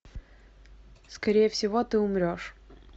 скорее всего ты умрешь